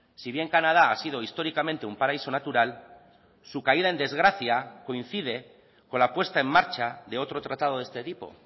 si bien canadá ha sido históricamente un paraíso natural su caída en desgracia coincide con la puesta en marcha de otro tratado de este tipo